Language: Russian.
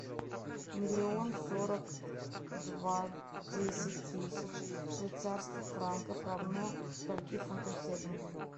миллион сорок два десять тысяч швейцарских франков равно скольки фунтам стерлингам